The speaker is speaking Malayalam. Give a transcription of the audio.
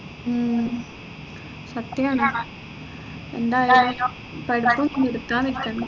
ഉം സത്യാണ് എന്തായാലും പഠിപ്പും നിർത്താൻ നിക്കണ്ട